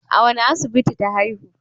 A wane asibiti ta haihu?